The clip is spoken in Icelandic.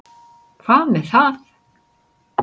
Hvað með það.